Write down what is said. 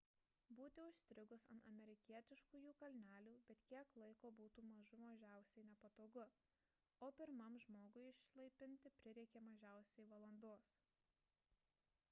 būti užstrigus ant amerikietiškųjų kalnelių bet kiek laiko būtų mažų mažiausiai nepatogu o pirmam žmogui išlaipinti prireikė mažiausiai valandos